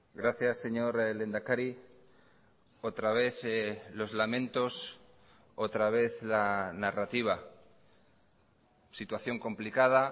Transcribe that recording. gracias señor lehendakari otra vez los lamentos otra vez la narrativa situación complicada